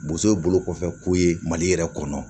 Bozo ye bolo kɔfɛko ye mali yɛrɛ kɔnɔ